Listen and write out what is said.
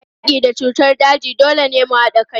A yaki da cutar daji, dole ne mu hada kai.